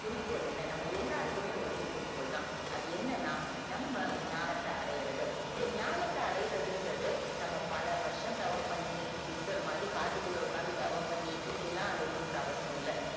குறிக்கோள் என்ன நம்ம எல்லாருக்குமே ஒரே குறிக்கோள் தான் அது என்னென்னா நம்ம ஞானத்த அடையுறது இந்த் ஞானத்த அடையுறதுன்றது நம்ம பல வருஷம் தவம் பண்ணி புத்தர் மாதிரி காட்டுக்குள்ள உக்காந்தது தவம் பண்ணி இப்படியெல்லாம் அடியனும் அவசியம் இல்ல